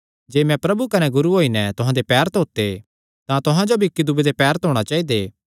जे मैं प्रभु कने गुरू होई नैं तुहां दे पैर धोते तां तुहां जो भी इक्की दूये दे पैर धोणा चाइदे